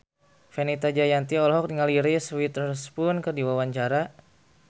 Fenita Jayanti olohok ningali Reese Witherspoon keur diwawancara